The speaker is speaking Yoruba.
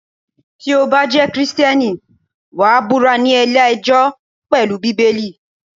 Tí o bá jẹ́ Kristẹni, wàá búra ní ilé ẹjọ́ pelu Bíbélì.